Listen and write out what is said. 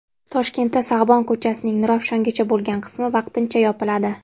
Toshkentda Sag‘bon ko‘chasining Nurafshongacha bo‘lgan qismi vaqtincha yopiladi.